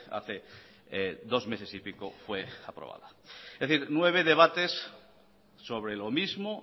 hace dos meses y pico fue aprobada es decir nueve debates sobre lo mismo